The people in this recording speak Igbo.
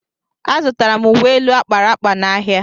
Azụtara m uwe elu a kpara akpa n'ahịa